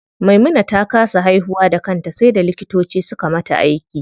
Maimuna ta kasa haihuwa da kanta sai da likitoci suka mata aiki.